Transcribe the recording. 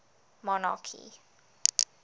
monarchy